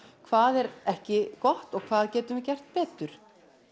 hvað er ekki gott og hvað getum við gert betur